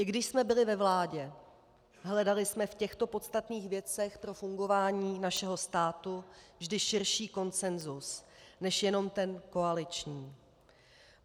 I když jsme byli ve vládě, hledali jsme v těchto podstatných věcech pro fungování našeho státu vždy širší konsenzus než jenom ten koaliční.